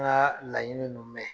An ka laɲini mumɛ